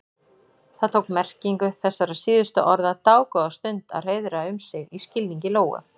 Það tók merkingu þessara síðustu orða dágóða stund að hreiðra um sig í skilningi Lóu.